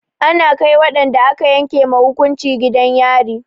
Ana kai waɗanda aka yanke ma hukunci gidan yari.